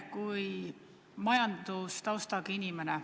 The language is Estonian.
Te olete majandustaustaga inimene.